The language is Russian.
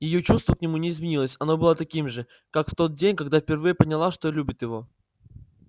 её чувство к нему не изменилось оно было таким же как в тот день когда она впервые поняла что любит его